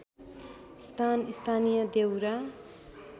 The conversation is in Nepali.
स्थान स्थानीय देउरा